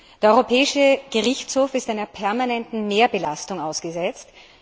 Der Europäische Gerichtshof ist einer permanenten Mehrbelastung ausgesetzt.